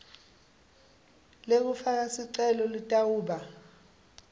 lekufaka sicelo litawuba